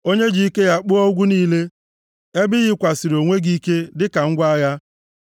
onye ji ike ya kpụọ ugwu niile, ebe i yikwasịrị onwe gị ike dịka ngwa agha,